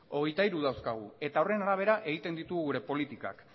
hogeita hiru dauzkagu eta horren arabera egiten ditugu gure politikak